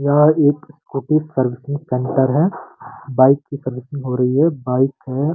यह एक scooty servicing centre है बाइक की सर्विसिंग हो रही है बाइक है।